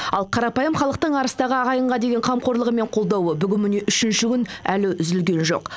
ал қарапайым халықтың арыстағы ағайынға деген қамқорлығы мен қолдауы бүгін міне үшінші күн әлі үзілген жоқ